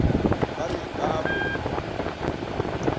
ba re ba a mo